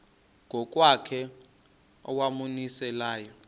ngokwakhe owawumise layo